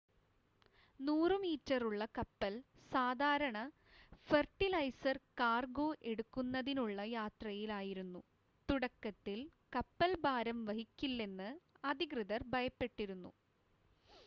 100 മീറ്ററുള്ള കപ്പൽ സാധാരണ ഫെർട്ടിലൈസർ കാർഗോ എടുക്കുന്നതിനുള്ള യാത്രയിലായിരുന്നു തുടക്കത്തിൽ കപ്പൽ ഭാരം വഹിക്കില്ലെന്ന് അധികൃതർ ഭയപ്പെട്ടിരുന്നു